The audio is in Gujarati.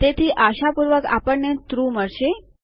તેથી આશાપૂર્વક આપણને ટ્રૂ મળશે